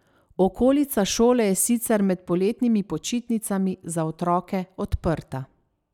Okolica šole je sicer med poletnimi počitnicami za otroke odprta.